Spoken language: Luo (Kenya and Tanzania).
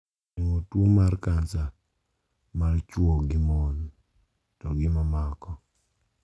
Geng`o tuo mar kansa mar chuo gi mon to gi mamoko.